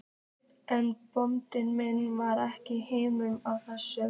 En bóndi minn var ekki hrifinn af þessu.